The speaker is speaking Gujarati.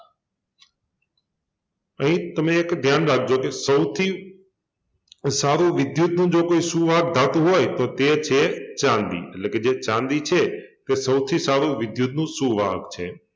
અહિં તમે એક ધ્યાન રાખજો કે સૌથી સારુ વિદ્યુતનું જો કોઈ સુવાહક ધાતુ હોય તો તે છે ચાંદી એટલે કે જે ચાંદી છે તે સૌથી સારુ વિદ્યુતનું સુવાહક છે